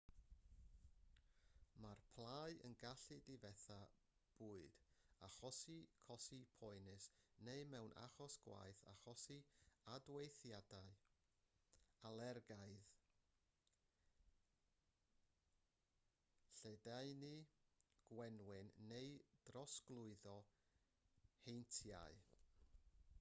mae plâu yn gallu difetha bwyd achosi cosi poenus neu mewn achos gwaeth achosi adweithiau alergaidd lledaenu gwenwyn neu drosglwyddo heintiau